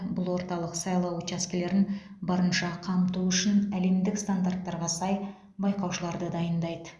бұл орталық сайлау учаскелерін барынша қамту үшін әлемдік стандарттарға сай байқаушыларды дайындайды